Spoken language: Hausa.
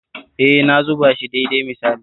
E, na zuba shi daidai misali